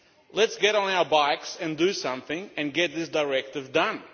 Let us get on our bikes and do something and get this directive done.